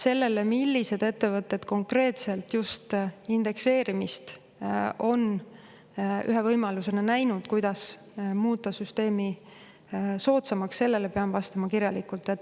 Sellele, millised ettevõtted konkreetselt just indekseerimist on ühe võimalusena näinud, et muuta süsteemi soodsamaks, pean vastama kirjalikult.